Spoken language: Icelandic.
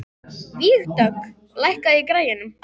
Vígdögg, lækkaðu í græjunum.